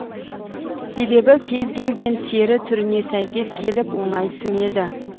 себебі кез келген тері түріне сейкес келіп оңай сіңеді